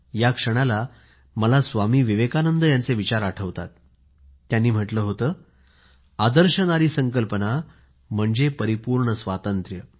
या क्षणाला मला स्वामी विवेकानंद यांचे विचार आठवतात त्यांनी म्हटले होते आदर्श नारी संकल्पना म्हणजे परिपूर्ण स्वातंत्र्य